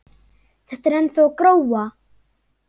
Þetta er ennþá að gróa.